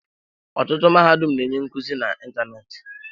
Ọtụtụ mahadum na-enye nkuzi n'ịntanetị.